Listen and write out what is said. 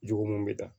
Jogo mun bɛ ta